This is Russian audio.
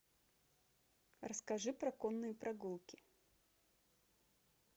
расскажи про конные прогулки